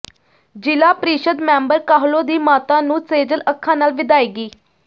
ਜ਼ਿਲ੍ਹਾ ਪ੍ਰੀਸ਼ਦ ਮੈਂਬਰ ਕਾਹਲੋਂ ਦੀ ਮਾਤਾ ਨੂੰ ਸੇਜਲ ਅੱਖਾਂ ਨਾਲ ਵਿਦਾਇਗੀ